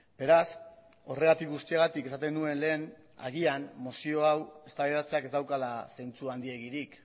beraz horregatik guztiagatik esaten nuen lehen agian mozio hau eztabaidatzeak ez daukala zentzu handiegirik